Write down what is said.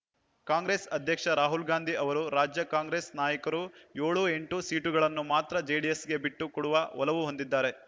ಕಾಂಗ್ರೆಸ್ ಅಧ್ಯಕ್ಷ ರಾಹುಲ್‌ಗಾಂಧಿ ಅವರು ರಾಜ್ಯ ಕಾಂಗ್ರೆಸ್ ನಾಯಕರು ಏಳು ಎಂಟು ಸೀಟುಗಳನ್ನು ಮಾತ್ರ ಜೆಡಿಎಸ್‌ಗೆ ಬಿಟ್ಟು ಕೊಡುವ ಒಲವು ಹೊಂದಿದ್ದಾರೆ